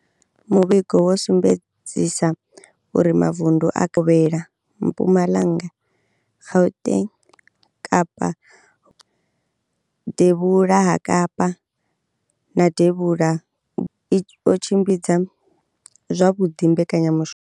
Muvhigo wo sumbedzisa uri mavundu a Kapa Vhukovhela, Mpumalanga, Gauteng, Kapa Vhubvaḓuvha, Devhula ha Kapa na Devhula Vhukovhela o tshimbidza zwavhuḓi mbekanyamushumo